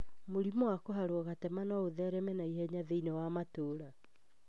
Mũrimũ wa kũharwo gatema no ũthereme na ihenya mũno thĩinĩ wa matũra.